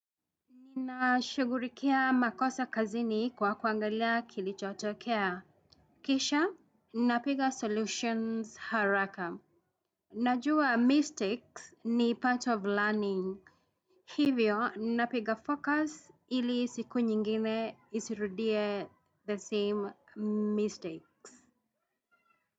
Nina shughulikia makosa kazini kwa kuangalia kilichotokea. Kisha, napiga solutions haraka. Najua mistakes ni part of learning. Hivyo, napiga focus ili siku nyingine isirudie the same mistake.